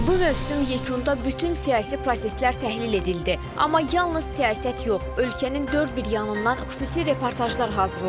Bu mövsüm yekunda bütün siyasi proseslər təhlil edildi, amma yalnız siyasət yox, ölkənin dörd bir yanından xüsusi reportajlar hazırladıq.